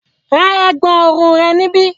Ra ẹ̀gbọ̀n ọrùn rẹ níbí!